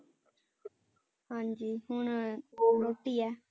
ਹਾਂਜੀ ਹੁਣ ਰੋਟੀ ਹੈ।